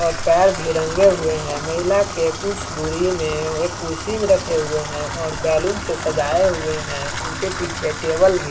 और पैर भी रंगे हुए हैं महिला के कुछ दूरी में एक कुर्सी भी रखे हुए हैं और बैलून से सजाये हुए हैं इनके पीछे टेबल भी है।